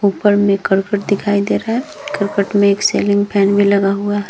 ऊपर में करकट दिखाई दे रहा है करकट में एक सेलिंग फैन भी लगा हुआ है।